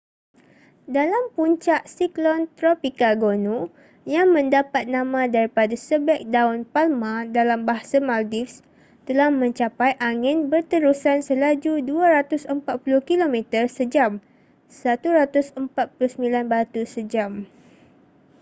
dalam puncak siklon tropika gonu yang mendapat nama daripada sebeg daun palma dalam bahasa maldives telah mencapai angin berterusan selaju 240 kilometer sejam 149 batu sejam